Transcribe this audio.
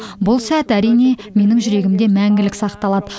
бұл сәт әрине менің жүрегімде мәңгілік сақталады